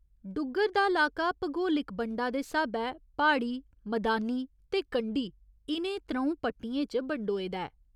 डुग्गर दा लाका भगोलिक बंडा दे स्हाबै प्हाड़ी, मदानी ते कंढी इ'नें त्र'ऊं पट्टियें च बंडोए दा ऐ।